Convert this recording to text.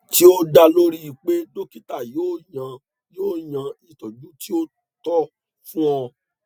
ti o da lori pe dokita yoo yan yoo yan itọju ti o tọ fun ọ